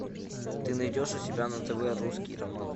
ты найдешь у себя на тв русский роман